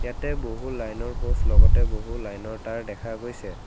তে বহু লাইনৰ পোষ্ট লগতে বহু লাইনৰ তাঁৰ দেখা গৈছে।